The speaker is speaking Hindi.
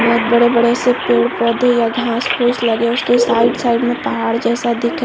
बहोत बड़े-बड़े से पेड़-पौधे या घास फुस लगे साइड साइड मे पहाड़ जैसा दिख रहा है।